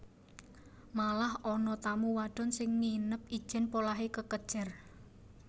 Malah ana tamu wadon sing nginep ijèn polahé kekejer